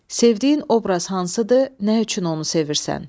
Sevdiyin obraz hansıdır, nə üçün onu sevirsən?